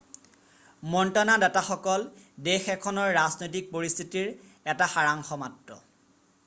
মন্ত্ৰণাদাতাসকল দেশ এখনৰ ৰাজনৈতিক পৰিস্থিতিৰ এটা সাৰাংশ মাত্ৰ